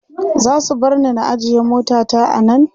zasu barni na ajye mota ta a Nan?